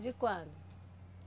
De quando?